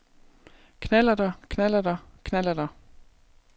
knallerter knallerter knallerter